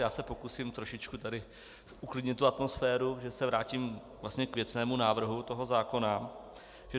Já se pokusím trošičku tady uklidnit tu atmosféru, že se vrátím vlastně k věcnému návrhu toho zákona.